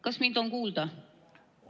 Kas mind on kuulda?